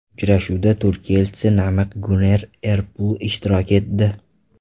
Uchrashuvda Turkiya Elchisi Namiq Guner Erpul ishtirok etdi.